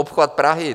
Obchvat Prahy.